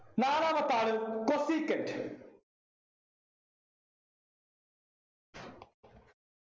നാലാമത്തെ ആള് cosecant